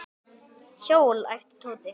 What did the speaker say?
Hjól? æpti Tóti.